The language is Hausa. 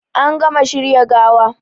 An gama shirya gawa